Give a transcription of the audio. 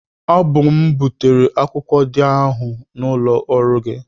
Ọ bụ m bụ wetara akwụkwọ dị ahụ n'ụlọ ọrụ gị.